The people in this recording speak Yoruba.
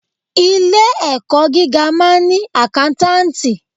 Ilé ẹ̀kọ́ gíga máa ń ni àkántàntì.